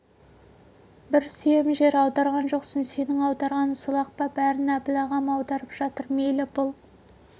бір сүйем жер аударған жоқсың сенің аударғаның сол-ақ па бәрін әбіл ағам аударып жатыр мейлі бұл